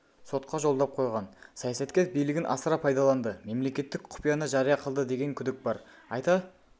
сотқа жолдап қойған саясаткер билігін асыра пайдаланды мемлекеттік құпияны жария қылды деген күдік бар айта